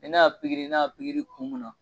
Ni ne y'a ne y'a kun mun na.